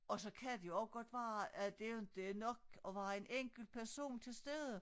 Og så kan det også være at det inte er nok at være en enkelt person til stede